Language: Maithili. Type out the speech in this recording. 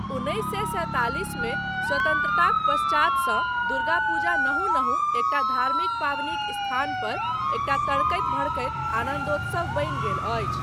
उन्नैस सए सैंतालिस मे स्वतन्त्रताक पश्चातसँ दुर्गा पूजा नहु नहु एकटा धार्मिक पाबनिक स्थान पर एकटा तड़कैत भड़कैत आनन्दोत्सव बनि गेल अछि।